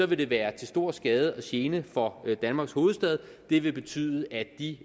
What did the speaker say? vil det være til stor skade og gene for danmarks hovedstad det vil betyde at de